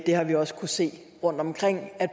har vi også kunnet se rundtomkring